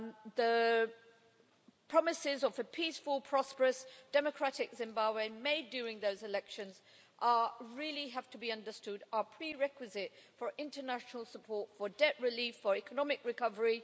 The promises of a peaceful, prosperous, democratic Zimbabwe made during those elections it really has to be understood are a prerequisite for international support, for debt relief, for economic recovery.